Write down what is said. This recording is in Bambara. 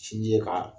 Sinji ka